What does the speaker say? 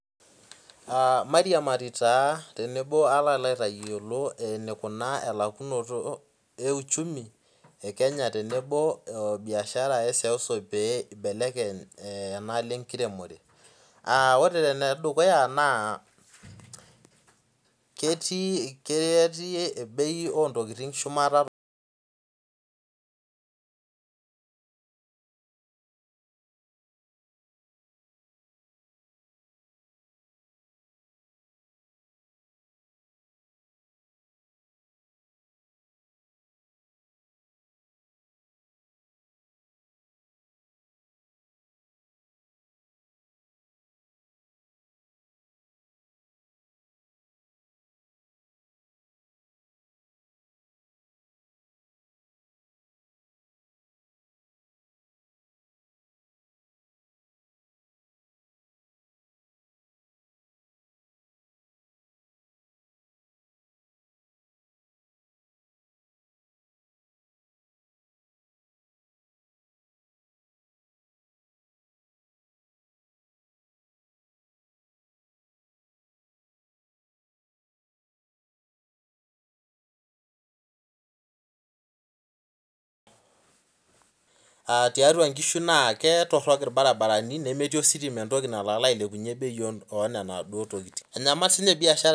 Aa mairiamari tenebo alo aitayiolo enikunaa elakunoto euchumu peibelekeny enalo enkiremore orw enedukuya na ketii bei ontokitin shumata tiatua nkishu na ketoronok ositima nemeeti entoki nalo ailepunye bei onaduo tokitin biashara